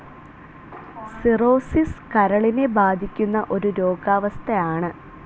Cirrhosis കരളിനെ ബാധിക്കുന്ന ഒരു രോഗാവസ്ഥ ആണു.